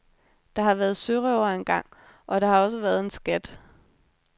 Der har været sørøvere engang, og der har også været en skat.